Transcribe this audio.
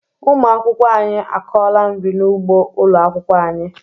Ụmụ akwụkwọ anyị akọọla nri n'ugbo ụlọ akwụkwọ anyị.